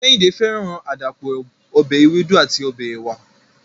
Kehinde feran adapo ọbẹ ewedu ati ọbẹ ewa